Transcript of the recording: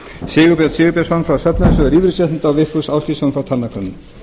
sigurbjörn sigurbjörnsson frá söfnunarsjóði lífeyrissjóða og vigfús ásgeirsson frá talnakönnun